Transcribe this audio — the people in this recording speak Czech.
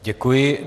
Děkuji.